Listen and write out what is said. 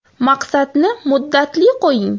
Maqsadni muddatli qo‘ying!